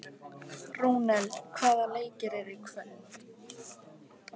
Rúnel, hvaða leikir eru í kvöld?